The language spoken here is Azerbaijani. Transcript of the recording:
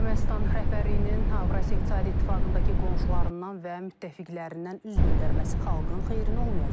Ermənistan rəhbərliyinin Avrasiya İqtisadi İttifaqındakı qonşularından və müttəfiqlərindən üz döndərməsi xalqın xeyrinə olmayacaq.